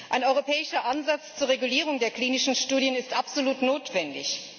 Ein europäischer Ansatz zur Regulierung der klinischen Studien ist absolut notwendig.